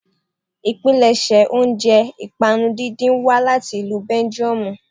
Ìpilẹ̀ṣẹ̀ oúnjẹ ìpànu díndín wá láti ìlú belgiumu